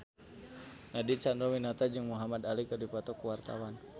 Nadine Chandrawinata jeung Muhamad Ali keur dipoto ku wartawan